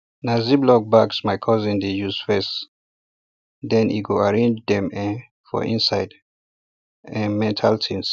na ziplock um bags my cousin dey use first then e go arrange dem um for inside um metal tins